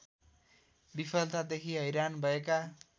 विफलतादेखि हैरान भएका